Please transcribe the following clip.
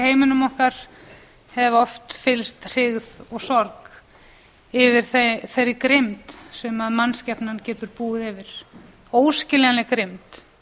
heiminum okkar hef oft fyllst hryggð og sorg yfir þeirri grimmd sem mannskepnan getur búið yfir óskiljanleg grimmd